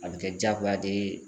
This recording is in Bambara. A bi kɛ jagoya de ye